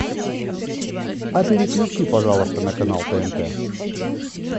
а переключи пожалуйста на канал тнт